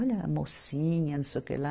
Olha a mocinha, não sei o que lá.